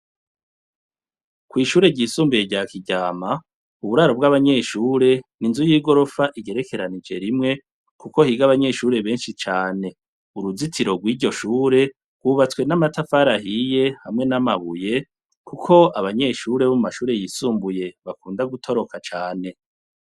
Kw'ishure ryisumbuye rya Kiryama, uburaro bw'abanyeshure ni inzu y'igorofa igerekeranije rimwe kuko higa abanyeshure benshi cane. Uruzitiro rw'iryo shure rwubatswe n'amatafari ahiye hamwe n'amabuye kuko abanyeshure bo mu mashure yisumbuye bakunda gutoroka cane.